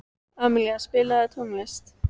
Amilía, spilaðu tónlist.